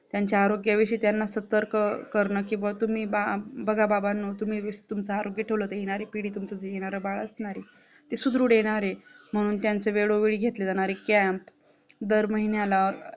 त्यांच्या आरोग्य विषयी त्यांना सतर्क करणं किंवा तुम्ही बबघा बाबानो तुम्ही वीसतुमच्या आरोग्य ठेवलात तर येणारे तुमचा पिढी तुमच येणार जे बाळ असणार आहे ते सुदृढ असणार आहे म्हणून त्यांचा वेळोवेळ घेतली जाणारी camp दर महिन्याला